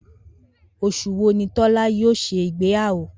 Os̩ù wo ni Tó̩lá̩ yóò s̩e ìgbéyàwó?